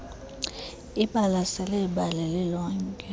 ibalasele ibali lilonke